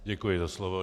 Děkuji za slovo.